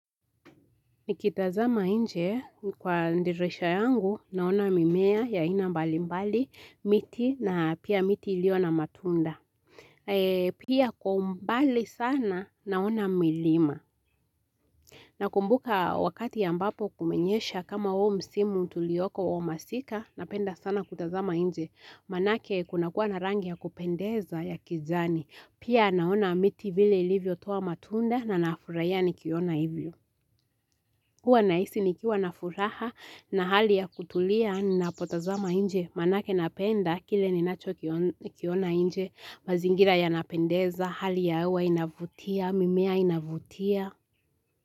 Nikitazama inje kwa dirisha yangu naona mimea ya aina mbali mbali miti na pia miti iliona matunda. Pia kwa umbali sana naona milima. Nakumbuka wakati ambapo kumenyesha kama huu msimu tulioko wa masika napenda sana kutazama nje. Manake kuna kuwa na rangi ya kupendeza ya kijani. Pia naona miti vile ilivyotoa matunda na nafurahia nikiona hivyo. Huwa nahisi nikiwa na furaha na hali ya kutulia ninapotazama inje manake napenda kile ninachokiona inje mazingira ya napendeza hali ya hewa inavutia mimea inavutia.